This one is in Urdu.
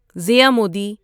زیا مودی